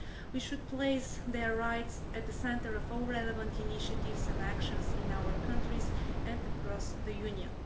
We should place their rights at the centre of all relevant initiatives and actions in our countries and across the Union.